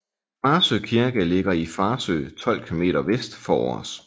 Farsø Kirke ligger i Farsø 12 km vest for Aars